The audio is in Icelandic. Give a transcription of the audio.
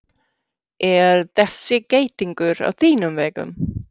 Er þessi geitungur á þínum vegum?